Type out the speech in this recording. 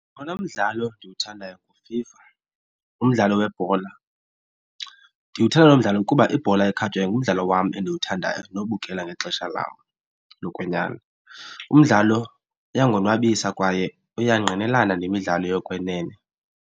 Owona mdlalo ndiwuthandayo nguFIFA umdlalo webhola. Ndiwuthanda lo mdlalo kuba ibhola ekhatywayo ngumdlalo wam endiwuthandayo nobukela ngexesha lam lokwenyani. Umdlalo uyandonwabisa kwaye uyangqinelana nemidlalo yokwenene.